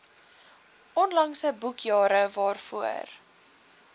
onlangse boekjare waarvoor